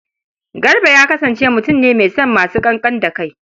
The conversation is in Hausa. Garba ya kasance mutun ne mai son masu ƙanƙan da kai.